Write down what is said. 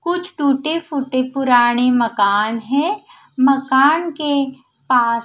कुछ टूटे फूटे पुराने मकान है मकान के पास--